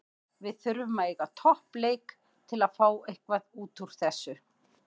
Við þurfum að eiga topp leik til að fá eitthvað útúr þessu.